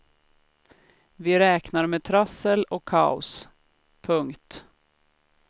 Vi räknar med trassel och kaos. punkt